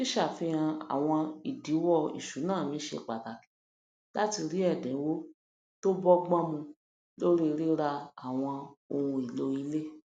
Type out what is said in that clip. ṣíṣàfihàn àwọn ìdíwọ ìṣúná mi ṣe pàtàkì láti rí ẹdíńwò tó bọgbọn mu lórí rírà àwọn ohun èlò ilé